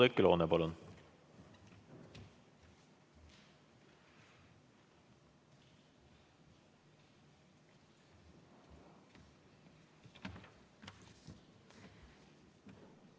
Oudekki Loone, palun!